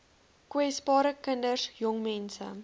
kwesbares kinders jongmense